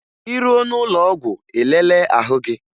Ị ruo n'ụlọọgwụ ị lelee ahụ gị!